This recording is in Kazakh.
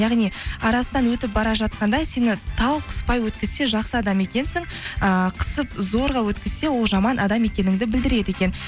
яғни арасынан өтіп бара жатқанда сені тау қыспай өткізсе жақсы адам екенсің ііі қысып зорға өткізсе ол жаман адам екеніңді білдіреді екен